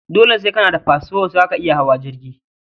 Dole sai kana da fasfo zaka iya hawa jirgi